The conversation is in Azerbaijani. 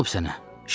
Nə olub sənə?